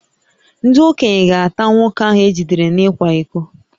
Ndị okenye ga-ata nwoke ahụ e jidere n’ịkwa iko